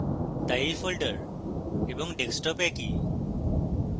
তাই এই folder এবং desktop একই